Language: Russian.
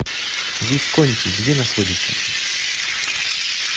висконти где находится